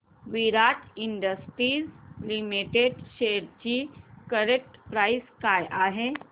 विराट industries limited shares ची current price काय आहे